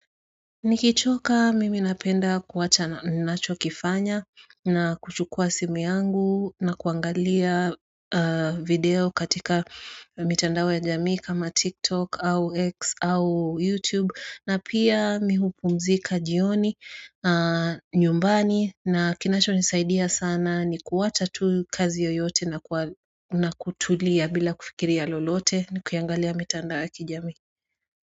Nikichoka mimi napenda kuacha ninachokifanya na kuchukua simu yangu na kuangalia video katika mitandao ya jamii kama TikTok au X au YouTube na pia mi hupumzika jioni nyumbani na kinachonisaidia sana ni kuacha tu kazi yoyote na kutulia bila kufikiria lolote nikiangalia mitandao ya kijamii.